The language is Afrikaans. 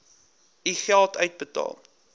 u geld uitbetaal